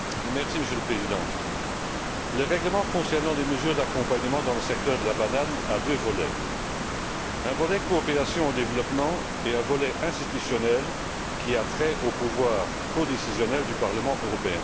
Monsieur le Président, le règlement concernant les mesures d'accompagnement dans le secteur de la banane comporte deux volets un volet coopération au développement et un volet institutionnel qui a trait au pouvoir codécisionnel du Parlement européen.